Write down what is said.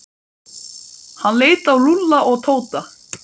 Hann leit á Lúlla og Tóta.